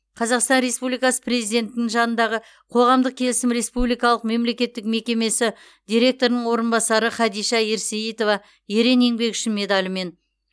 қазақстан республикасы президентінің жанындағы қоғамдық келісім республикалық мемлекеттік мекемесі директорының орынбасары хадиша ерсейітова ерен еңбегі үшін медалімен